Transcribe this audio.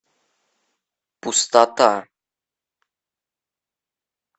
пустота